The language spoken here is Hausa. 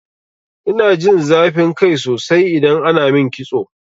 Ina jin zafin kai sosai idan ana min kitso.